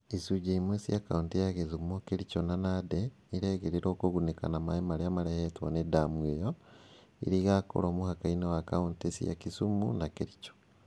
Icunjĩ imwe cia kaunti cia Gĩthumo, Kerico na Nandĩ irerĩgĩrĩrwo kũgunĩka na maĩ marĩa marehetwo nĩ damũ ĩyo. ĩrĩa ĩgakorwo mũhaka-inĩ rwa kaunti cia Kisumu na Kericho.